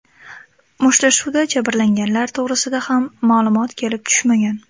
Mushtlashuvda jabrlanganlar to‘g‘risida ham ma’lumot kelib tushmagan.